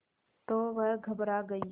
तो वह घबरा गई